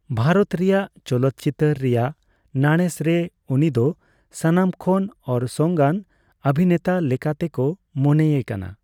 ᱣᱟᱨᱚᱛ ᱨᱮᱭᱟᱜ ᱪᱚᱞᱚᱛ ᱪᱤᱛᱟᱹᱨ ᱨᱮᱭᱟᱜ ᱱᱟᱲᱮᱥ ᱨᱮ ᱩᱱᱤ ᱫᱚ ᱥᱟᱱᱟᱢ ᱠᱷᱚᱱ ᱚᱨᱥᱚᱝᱟᱱ ᱚᱣᱤᱱᱮᱛᱟ ᱞᱮᱠᱟ ᱛᱮ ᱠᱚ ᱢᱚᱱᱮᱭᱮ ᱠᱟᱱᱟ ᱾